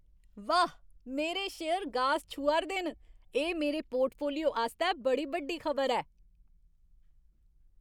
वाह्, मेरे शेयर गास छूहा 'रदे न! एह् मेरे पोर्टफोलियो आस्तै बड़ी बड्डी खबर ऐ।